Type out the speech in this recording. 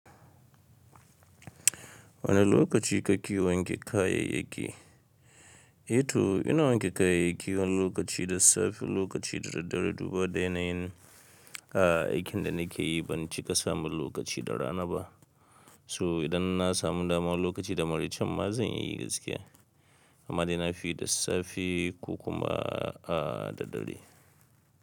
Wane lokaci kake wanke kayay yaki? Eyto ina wanke kayayyaki wani lokaci da safe wani lokaci da daddare duba dai na yin, a aikin da nake yi ban cika samu lokaci da rana ba. To idan na samu dama wani lokaci da maraycen ma zan iya yi gaskiya. Amma dai na fi da safe ko kuma a da dare.